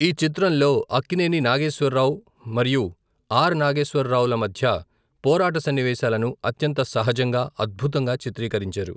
ఈ చిత్రంలో అక్కినేని నాగేశ్వర్ రావ్ మరియు ఆర్.నాగేశ్వర్ రావ్ ల మధ్య పోరాట సన్నివేశాలను అత్యంత సహజంగా అద్భుతంగా చిత్రీకరించారు.